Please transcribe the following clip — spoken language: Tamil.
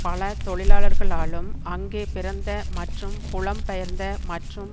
பல தொழிலாளர்களாலும் அங்கே பிறந்த மற்றும் புலம் பெயர்ந்த மற்றும்